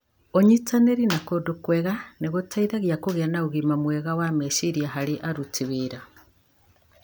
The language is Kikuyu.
Ũnyitanĩri na kũndũ kwega nĩ gũteithagia kũgĩa na ũgima mwega wa meciria harĩ aruti wĩra.